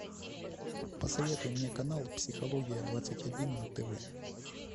посоветуй мне канал психология двадцать один на тв